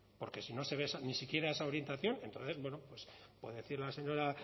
porque si no se ve ni siquiera esa orientación entonces bueno puede decir la señora